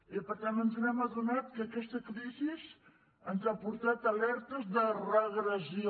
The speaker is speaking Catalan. i per tant ens hem adonat que aquesta crisi ens ha portat alertes de regressió